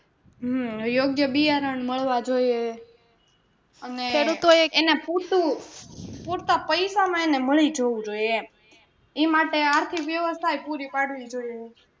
હમ યોગ્ય બિયારણ મળવા જોઈએ અને એને પૂરતું પૂરતા પૈસામાં એને મળી જવું જોઈએ એમ ઈ માટે આર્થિક વ્યવસ્થા એ પુરી પાડવી પડે એવું છે.